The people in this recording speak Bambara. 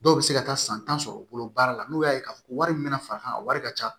Dɔw bɛ se ka taa san tan sɔrɔ u bolo baara la n'u y'a ye k'a fɔ wari min bɛna far'a kan a wari ka ca